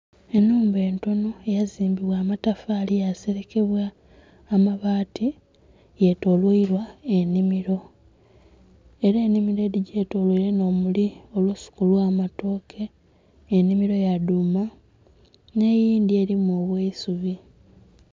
Ennhumba entono eyazimbibwa amatafaali yaaserekebwa amabaati yetoloirwa ennhimiro era ennhimiro edhigyetoloire nh'omuli olusuku olw'amatooke, ennhimiro ya dhuuma n'eyindhi erimu obw'eisubi.